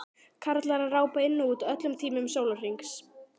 Karlar að rápa inn og út á öllum tímum sólarhrings.